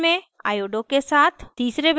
तीसरे benzene में hydroxy के साथ